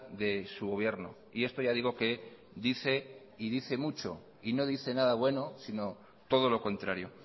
de su gobierno y esto ya digo que dice y dice mucho y no dice nada bueno sino todo lo contrario